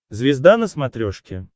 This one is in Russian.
звезда на смотрешке